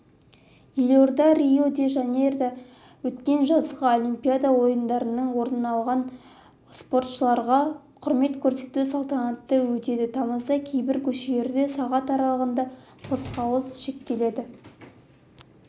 елордада рио-де-жанейрода өткен жазғы олимпиада ойындарынан оралған спортшыларға құрмет көрсету салтанаты өтеді тамызда кейбір көшелерде сағат аралығында қозғалыс шектеледі